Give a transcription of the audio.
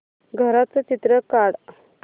घराचं चित्र काढ